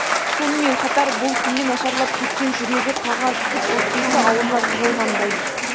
сонымен қатар бұл күнде нашарлап кеткен жүрегі қаға түсіп өкпесі аузына тығылғандай